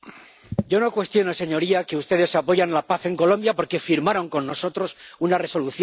Yo no cuestiono, señoría, que ustedes apoyen la paz en Colombia, porque firmaron con nosotros una Resolución.